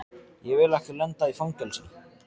Ég vil ekki lenda í fangelsi.